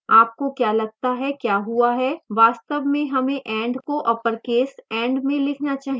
आपको क्या लगता है क्या हुआ है